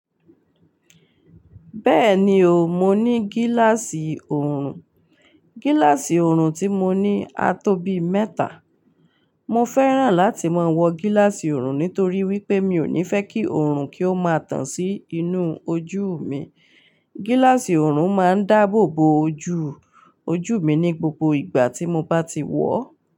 Bẹ́ẹ̀ni o, mo ní gíláàsì oorun. Gíláàsì oorun tí mo ní a tóbi mẹ́ta. Mo fẹ́ràn láti máa wọ gíláàsì oorun nítorí wípé mi ò ní fẹ́ kí oorun kí ó máa tàn sí inú ojú mi. Gíláàsì oorun máa ń dáàbò bo ojú, ojú mi ní gbogbo ìgbà tí mo bá ti wọ̀.